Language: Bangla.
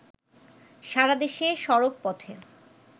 সারাদেশে সড়কপথে